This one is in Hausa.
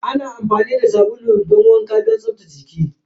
Ana amfani da sabulu a yayin wanka don tsaftace jiki.